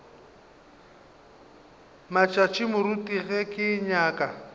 matšatši moruti ge ke nyaka